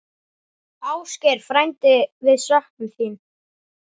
Ásgeir frændi, við söknum þín.